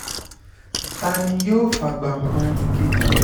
ta ni yóò fàgbà han ẹnì kejì